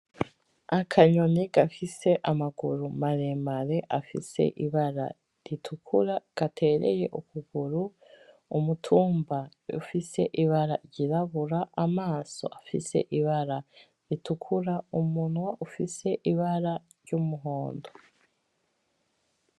Akanyoni gafise amaguru maremare afise ibara ritukura, gatereye ukuguru, umutumba ufise ibara ryirabura, amaso afise ibara ritukura, umunwa ufise ibara ry'umuhondo.